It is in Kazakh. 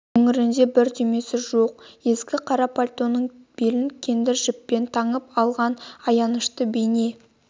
өңірінде бір түймесі жоқ ескі қара пальтоның белін кендір жіппен таңып алғанаянышты бейне